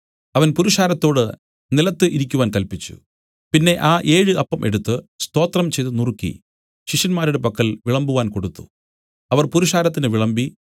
അവൻ പുരുഷാരത്തോട് നിലത്തു ഇരിക്കുവാൻ കല്പിച്ചു പിന്നെ ആ ഏഴ് അപ്പം എടുത്തു സ്തോത്രം ചെയ്തു നുറുക്കി ശിഷ്യന്മാരുടെ പക്കൽ വിളമ്പുവാൻ കൊടുത്തു അവർ പുരുഷാരത്തിന് വിളമ്പി